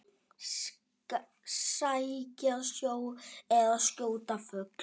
Sækja sjó eða skjóta fugl.